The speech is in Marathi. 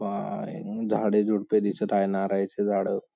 झाडे झुडपे दिसत आहे नारळाचे झाड--